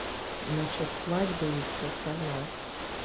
насчёт свадьбы и всё остальное